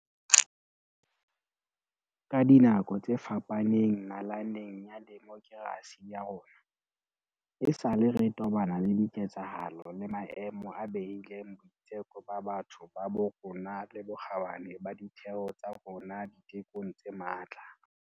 Ka dinako tse fapaneng nalaneng ya demokerasi ya rona, esale re tobana le diketsahalo le maemo a behileng boitseko ba batho ba bo rona le bokgabane ba ditheo tsa rona ditekong tse matla.